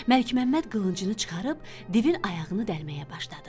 Məlikməmməd qılıncını çıxarıb divin ayağını dəlməyə başladı.